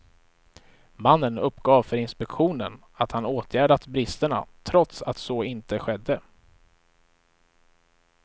Mannen uppgav för inspektionen att han åtgärdat bristerna trots att så inte skedde.